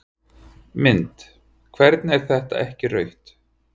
Mynd: Hvernig er þetta ekki rautt?